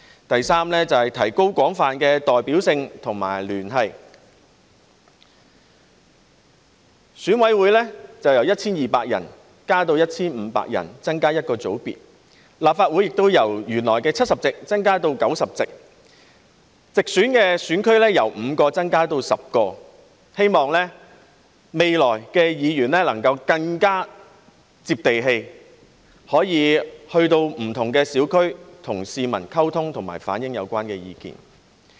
第三，是提高廣泛的代表性和聯繫，選委會由 1,200 人增加至 1,500 人，增加一個界別，而立法會亦由原來的70席增加至90席，直選選區由5個增加至10個，希望未來議員能夠更接地氣，可以前往不同小區，與市民溝通和反映有關意見。